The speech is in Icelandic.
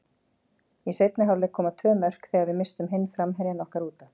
Í seinni hálfleik koma tvö mörk þegar við misstum hinn framherjann okkar útaf.